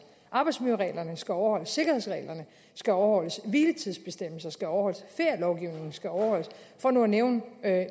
arbejdsmiljøreglerne skal overholdes sikkerhedsreglerne skal overholdes hviletidsbestemmelserne skal overholdes ferielovgivningen skal overholdes for nu at nævne